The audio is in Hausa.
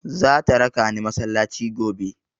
Zata raka ni masallaci gobe.